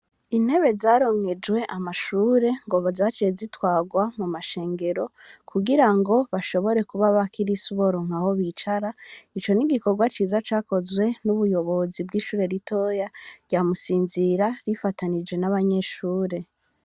Intebe zaronkejwe amashuri ngo zaciye zitwarwa mu mashengero ku girango bashobore kuba abakirisu boronka aho bicara ico n'igikorwa ciza cakozwe n'ubuyobozi bw'ishuri ritoya rya Musinzira rifananije n'abanyeshuri.